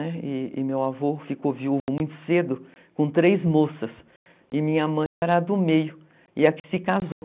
E e meu avô ficou viúvo muito cedo com três moças e minha mãe era a do meio e a que se casou.